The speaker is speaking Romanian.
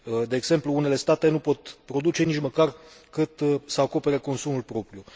De exemplu, unele state nu pot produce nici măcar cât să acopere consumul propriu.